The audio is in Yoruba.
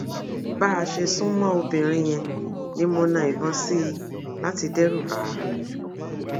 bá a ṣe sún mọ obìnrin yẹn ni mo na ìbọn sí i láti dẹrùbà á